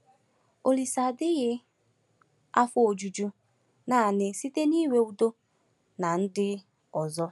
Olise adịghị afọ ojuju nanị site n’inwe udo na ndị ọzọ.